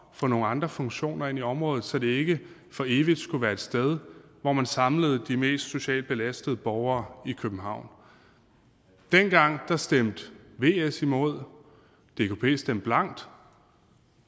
for nogle andre funktioner inde i området så det ikke for evigt skulle være et sted hvor man samlede de mest socialt belastede borgere i københavn dengang stemte vs imod og dkp stemte blankt